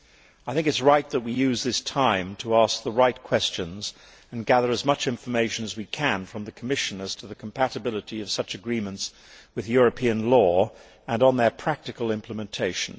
I think it is right that we use this time to ask the right questions and gather as much information as we can from the Commission as to the compatibility of such agreements with European law, and on their practical implementation.